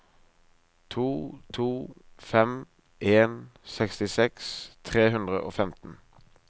to to fem en sekstiseks tre hundre og femten